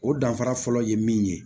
O danfara fɔlɔ ye min ye